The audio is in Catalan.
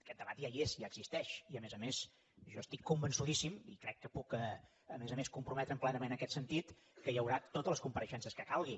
aquest debat ja hi és ja existeix i a més a més jo estic convençudíssim i crec que puc a més a més comprometre’m plenament en aquest sentit que hi haurà totes les compareixences que calgui